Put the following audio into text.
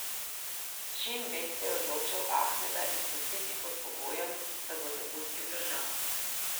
Šin Bet se je odločil Ahmeda izpustiti pod pogojem, da bo zapustil državo.